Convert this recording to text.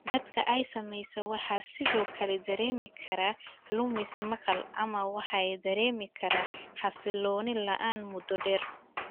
Dadka ay saamaysay waxay sidoo kale dareemi karaan lumis maqal ama waxay dareemi karaan xasillooni la'aan muddo dheer.